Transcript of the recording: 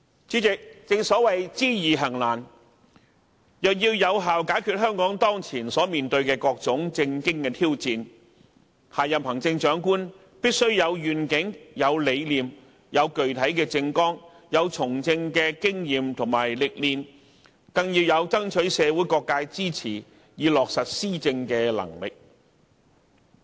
主席，正所謂知易行難，若要有效解決香港當前所面對的各種政經挑戰，下任行政長官必須有願景、有理念、有具體的政綱、有從政的經驗及歷練，更要有爭取社會各界支持以落實施政的能力。